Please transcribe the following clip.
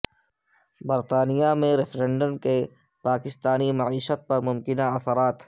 برطانیہ میں ریفرنڈم کے پاکستانی معیشت پر ممکنہ اثرات